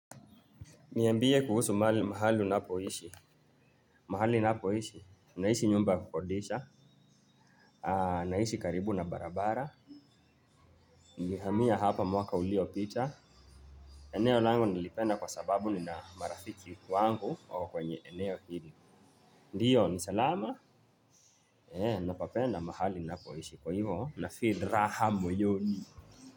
Niambie kuhusu mahali unapoishi, mahali napoishi, naishi nyumba kukodisha, naishi karibu na barabara. Nilihamia hapa mwaka ulio pita, eneo langu nilipenda kwa sababu nina marafiki wangu kwenye eneo hili. Ndiyo, ni salama, napapenda mahali napoishi, kwa hivo, nafeel raha moyoni.